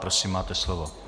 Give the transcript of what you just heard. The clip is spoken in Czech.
Prosím, máte slovo.